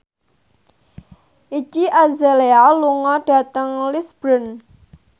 Iggy Azalea lunga dhateng Lisburn